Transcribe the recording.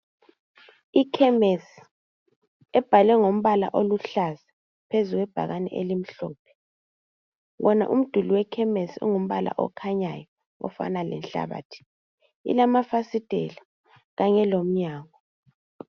ikhemesi ebhalwe ngombala oluhlaza phezu kwebhakane elimhlophe wona umduli wekhemesi ungumbala okhanyayo ofana lenhlabathi ilamafasitela kanye lomnyango